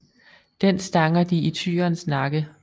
Den stanger de i tyrens nakke